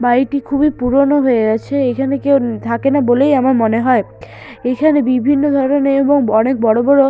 বাড়িটি খুবই পুরনো হয়ে আছে এখানে কেউ থাকেনা বলেই আমার মনে হয় এখানে বিভিন্ন ধরনের এবং অনেক বড়ো বড়ো--